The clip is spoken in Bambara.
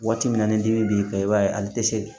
Waati min na ni dimi b'i kan i b'a ye ali tɛ se